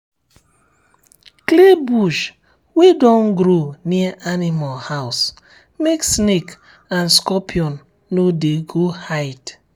clear bush wey don grow near animal house make snake and scorpion no no go hide.